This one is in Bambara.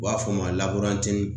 U b'a fɔ mun ma